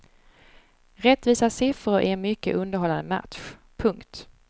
Rättvisa siffror i en mycket underhållande match. punkt